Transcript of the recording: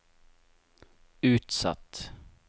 utsatt